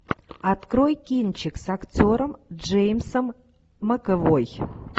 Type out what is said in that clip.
открой кинчик с актером джеймсом макэвой